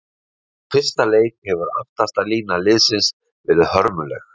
Frá fyrsta leik hefur aftasta lína liðsins verið hörmuleg.